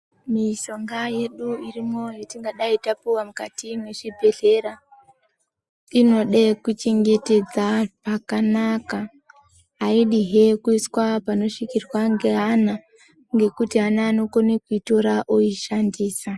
Mishonga yedu irimo yetingadai tapuwa mukati mwechibhedhlera, inode kuchengetedza pakanaka. Aidihe kuiswa panosvikirwa ngeana ngekuti ana anokone kuitora oishandisa.